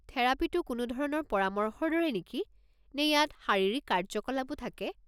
থেৰাপীটো কোনো ধৰণৰ পৰামৰ্শৰ দৰে নেকি, নে ইয়াত শাৰীৰিক কাৰ্য্যকলাপো থাকে?